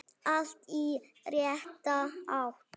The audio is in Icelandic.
Allt í rétta átt.